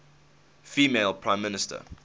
female prime minister